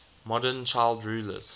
modern child rulers